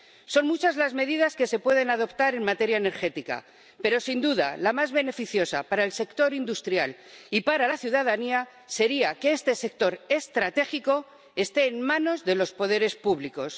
Son muchas las medidas que se pueden adoptar en materia energética, pero sin duda la más beneficiosa para el sector industrial y para la ciudadanía sería que este sector estratégico esté en manos de los poderes públicos.